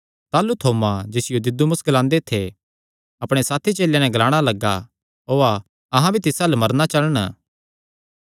ताह़लू थोमा जिसियो दिदुमुस ग्लांदे थे अपणे साथी चेलेयां नैं ग्लाणा लग्गा ओआ अहां भी तिस अल्ल मरना चलण